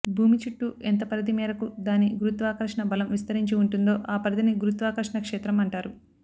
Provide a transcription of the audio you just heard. భూమిచుట్టూ ఎంత పరిధి మేరకు దాని గురుత్వాకర్షణ బలం విస్తరించి ఉంటుందో ఆ పరిధిని గురుత్వాకర్షణ క్షేత్రం అంటారు